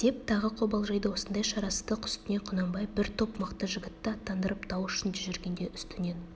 деп тағы қобалжиды осындай шарасыздық үстінде құнанбай бір топ мықты жігітті аттандырып тау ішінде жүргенде үстінен